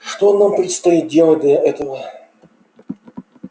что нам предстоит делать для этого